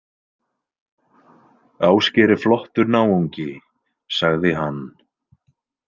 Ásgeir er flottur náungi, sagði hann.